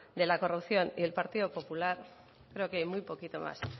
de la corrupción y el partido popular creo que hay muy poquito más